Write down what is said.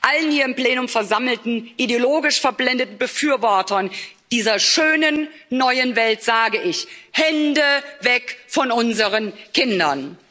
Allen hier im Plenum versammelten ideologisch verblendeten Befürwortern dieser schönen neuen Welt sage ich Hände weg von unseren Kindern!